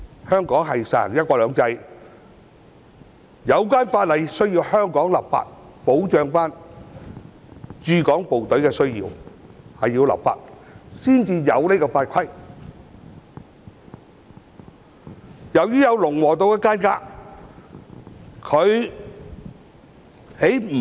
香港實行"一國兩制"，需要由香港立法保障駐港部隊的需要，故此必須透過立法訂立相關法規。